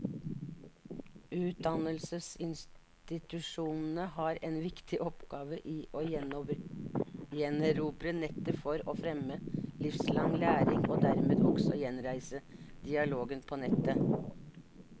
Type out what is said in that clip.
Utdannelsesinstitusjonene har en viktig oppgave i å gjenerobre nettet for å fremme livslang læring, og dermed også gjenreise dialogen på nettet.